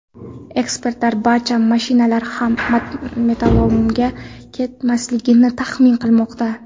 Ekspertlar barcha mashinalar ham metallolomga ketmasligini taxmin qilmoqda.